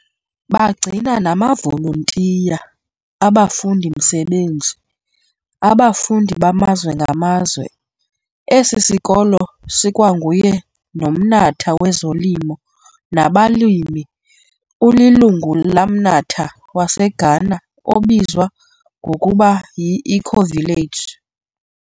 Bagcina namavoluntiya, abafundimsebenzi, abafundi bamazwe ngamazwe, esisikolo sokwanguye nomnatha wezolimo nabalimi ulilungu lamnatha waseGhana obizwa ngokuba yiEcovillage.